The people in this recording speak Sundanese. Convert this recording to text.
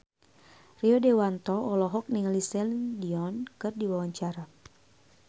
Rio Dewanto olohok ningali Celine Dion keur diwawancara